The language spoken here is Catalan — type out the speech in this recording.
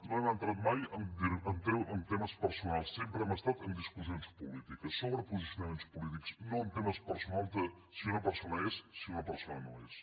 no hem entrat mai en temes personals sempre hem estat en discussions polítiques sobre posicionaments polítics no en temes personals de si una persona és si una persona no és